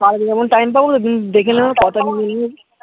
কালকে যখন time পাবো দেখে নেব